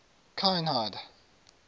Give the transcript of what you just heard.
kinhide